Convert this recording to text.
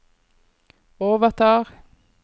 overtar